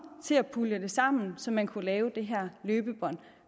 til at pulje det sammen så man kunne lave det her løbebånd